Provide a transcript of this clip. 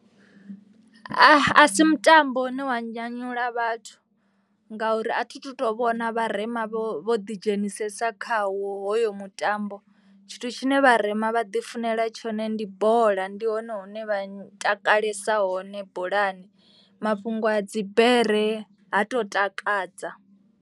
A si mutambo une wa nyanyula vhathu ngauri a thi tu to vhona vharema vho ḓidzhenisesa khawo hoyo mutambo. Tshithu tshine vharema vha ḓifunela tshone ndi bola. Ndi hone hune vha takalesa hone bolani mafhungo a dzi bere ha to takadza.